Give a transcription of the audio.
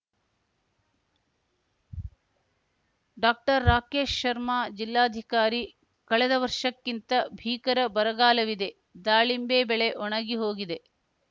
doctor Rakesh Sharma ಜಿಲ್ಲಾಧಿಕಾರಿ ಕಳೆದ ವರ್ಷಕ್ಕಿಂತ ಭೀಕರ ಬರಗಾಲವಿದೆ ದಾಳಿಂಬೆ ಬೆಳೆ ಒಣಗಿ ಹೋಗಿದೆ